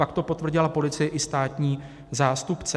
Pak to potvrdila policie i státní zástupce.